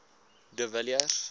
de villiers